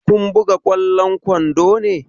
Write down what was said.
Kun buga ƙwallon kwando ne?